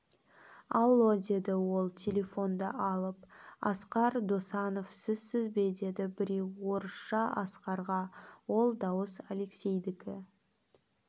алло деді ол телефонды алып асқар досанов сізсіз бе деді біреу орысша асқарға ол дауыс алексейдікі